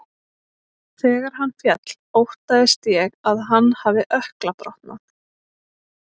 Þegar hann féll óttaðist ég að hann hafi ökkla brotnað.